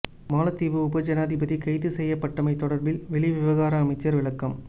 மாலைத்தீவு உப ஜனாதிபதி கைது செய்யப்பட்டமை தொடர்பில் வெளிவிவகார அமைச்சர் விளக்கம்